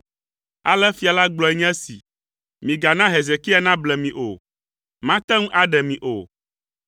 Ale fia la gblɔe nye esi, migana Hezekia nable mi o. Mate ŋu aɖe mi o!